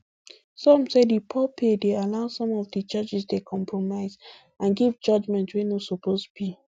some say di poor pay dey allow some of di judges dey compromise and give judgement wey no suppose be